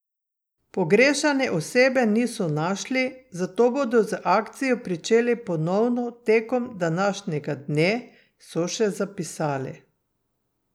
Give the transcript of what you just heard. Pogrešane osebe niso našli, zato bodo z akcijo pričeli ponovno tekom današnjega dne, so še zapisali.